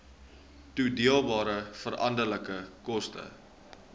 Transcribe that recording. toedeelbare veranderlike koste